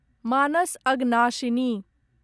Manas Aghanashini